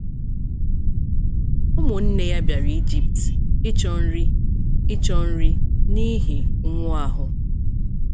Ụmụnne ya bịara Ijipt ịchọ nri ịchọ nri n’ihi ụnwụ ahụ.